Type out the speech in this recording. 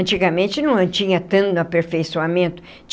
Antigamente não tinha tanto aperfeiçoamento.